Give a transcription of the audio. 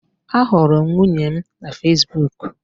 Ahụrụ m nwunye m na Fesbuk